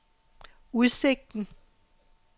udsigten